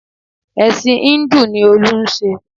Ẹ̀sìn Híńdù ni Olú ń ṣe